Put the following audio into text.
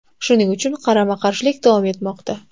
Shuning uchun qarama-qarshilik davom etmoqda.